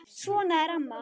Svona er amma.